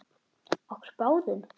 Okkur báðum?